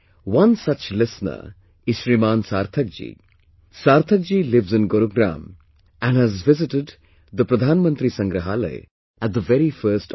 One such listener is Shrimaan Sarthak ji; Sarthak ji lives in Gurugram and has visited the Pradhanmantri Sangrahalaya at the very first opportunity